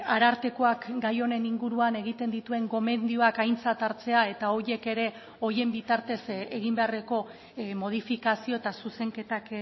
arartekoak gai honen inguruan egiten dituen gomendioak aintzat hartzea eta horiek ere horien bitartez egin beharreko modifikazio eta zuzenketak